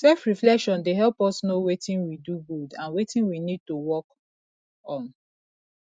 selfreflection dey help us know wetin we do good and wetin we need to work on